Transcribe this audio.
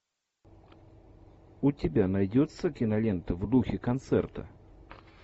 у тебя найдется кинолента в духе концерта